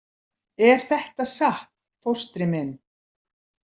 Er þetta satt, fóstri minn?